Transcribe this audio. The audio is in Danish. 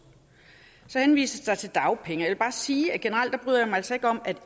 så henvises der til dagpenge og jeg vil bare sige at generelt bryder jeg mig altså ikke om at